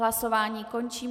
Hlasování končím.